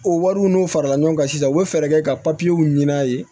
O wariw n'o farala ɲɔgɔn kan sisan u bɛ fɛɛrɛ kɛ ka w ɲini a ye